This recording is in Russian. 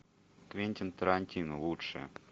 квентин тарантино лучшее